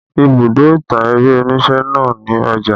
Ibùdó ìtàn eré onise náà ni Ọjà